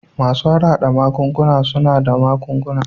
Masu harhada magunguna suna ba da magunguna